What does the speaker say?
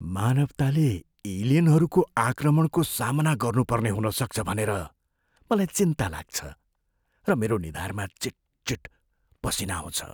मानवताले एलियनहरूको आक्रमणको सामना गर्नुपर्ने हुन सक्छ भनेर मलाई चिन्ता लाग्छ र मेरो निधारमा चिटचिट पसिना आउँछ।